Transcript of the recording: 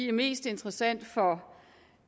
er mest interessant for